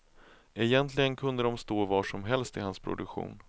Egentligen kunde de stå var som helst i hans produktion.